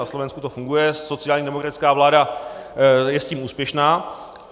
Na Slovensku to funguje, sociální demokratická vláda je s tím úspěšná.